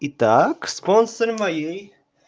и так спонсор моей